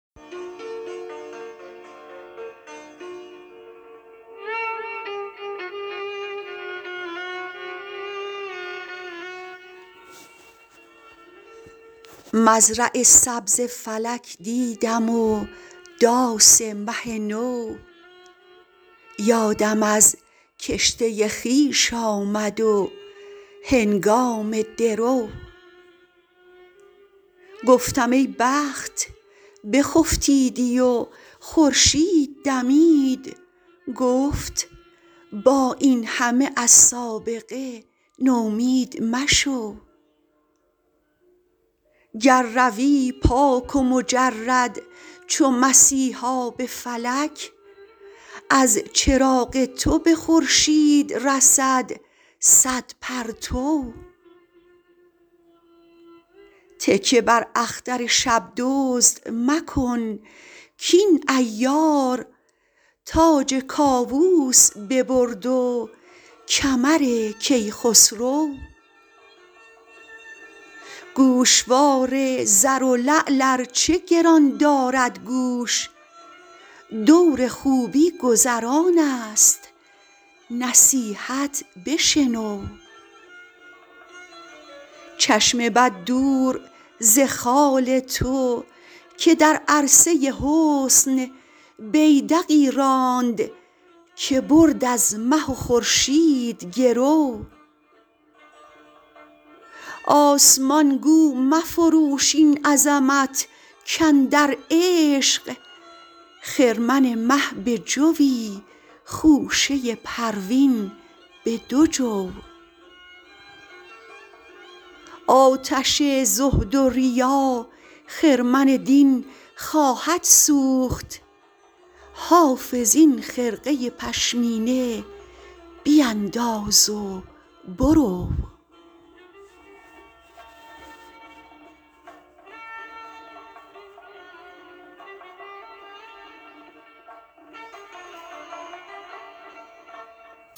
مزرع سبز فلک دیدم و داس مه نو یادم از کشته خویش آمد و هنگام درو گفتم ای بخت بخفتیدی و خورشید دمید گفت با این همه از سابقه نومید مشو گر روی پاک و مجرد چو مسیحا به فلک از چراغ تو به خورشید رسد صد پرتو تکیه بر اختر شب دزد مکن کاین عیار تاج کاووس ببرد و کمر کیخسرو گوشوار زر و لعل ار چه گران دارد گوش دور خوبی گذران است نصیحت بشنو چشم بد دور ز خال تو که در عرصه حسن بیدقی راند که برد از مه و خورشید گرو آسمان گو مفروش این عظمت کاندر عشق خرمن مه به جوی خوشه پروین به دو جو آتش زهد و ریا خرمن دین خواهد سوخت حافظ این خرقه پشمینه بینداز و برو